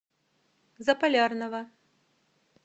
заполярного